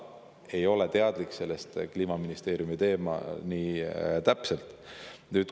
Ma ei ole sellest nii täpselt teadlik, see on Kliimaministeeriumi teema.